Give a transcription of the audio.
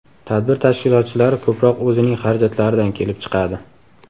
Tadbir tashkilotchilari ko‘proq o‘zining xarajatlaridan kelib chiqadi.